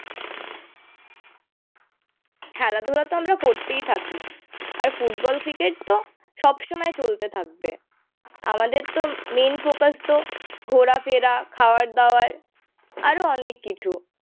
খেলাধূলাতো আমরা করতেই থাকি আর ফুটবল ক্রিকেটতো সবসময় চলতে থাকবে আমাদের তো মেইন ফোকাসতো ঘোরা ফেরা খাওয়ার দাওয়ার আরও অনেক কিছু